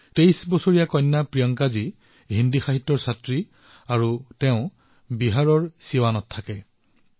২৩ বৰ্ষীয় প্ৰিয়ংকাজী হিন্দী সাহিত্যৰ বিদ্যাৰ্থী আৰু বিহাৰৰ ছিৱানৰ বাসিন্দা